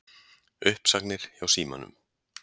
Uppsagnir hjá Símanum